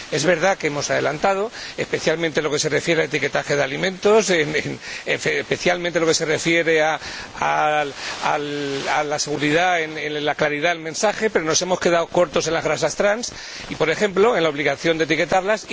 Es verdad que hemos adelantado, especialmente en lo que se refiere al etiquetaje de alimentos y en lo que se refiere a la seguridad en la claridad del mensaje, pero nos hemos quedado cortos en las grasas trans por ejemplo, en la obligación de etiquetarlas.